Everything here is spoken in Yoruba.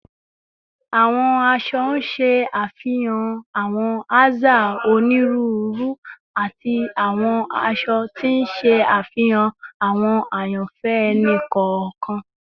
Awọn aṣọ ṣe afihan awọn aza oniruuru ati awọn aṣọ, ti n ṣe afihan awọn ayanfẹ ẹni kọọkan